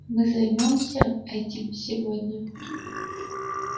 мы займёмся этим сегодня